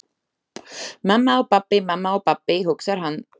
Mamma og pabbi, mamma og pabbi, hugsar hann.